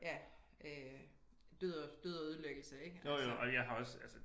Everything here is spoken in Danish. Ja øh død og død og ødelæggelse ik altså